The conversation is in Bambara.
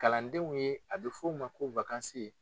Kalandenw ye a bɛ f'o ma ko